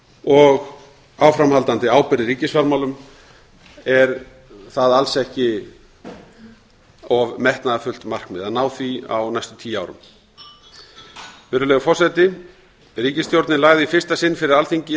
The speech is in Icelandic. og áframhaldandi ábyrgð í ríkisfjármálum er það alls ekki of metnaðarfullt markmið að ná því á næstu tíu árum virðulegur forseti ríkisstjórnin lagði í fyrsta sinn fyrir alþingi